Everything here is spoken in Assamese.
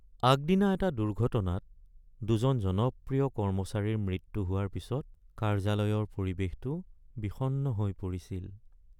আগদিনা এটা দুৰ্ঘটনাত দুজন জনপ্ৰিয় কৰ্মচাৰীৰ মৃত্যু হোৱাৰ পিছত কাৰ্যালয়ৰ পৰিৱেশটো বিষণ্ণ হৈ পৰিছিল।